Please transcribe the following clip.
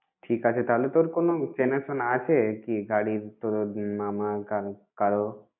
ঠিক আছে তাহলে। তোর কোন চেনা শোনা আছে কি গাড়ি তোর মামা কারো কারো?